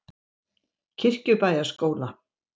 Kirkjubæjarskóla